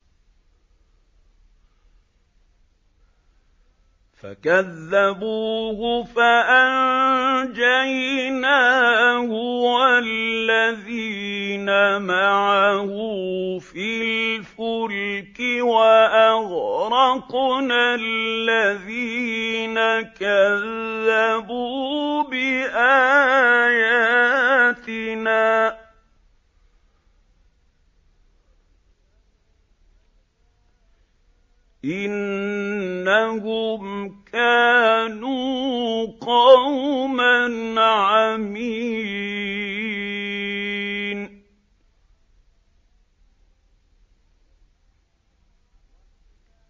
فَكَذَّبُوهُ فَأَنجَيْنَاهُ وَالَّذِينَ مَعَهُ فِي الْفُلْكِ وَأَغْرَقْنَا الَّذِينَ كَذَّبُوا بِآيَاتِنَا ۚ إِنَّهُمْ كَانُوا قَوْمًا عَمِينَ